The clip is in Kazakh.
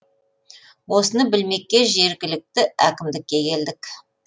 осыны білмекке жергілікті әкімдікке келдік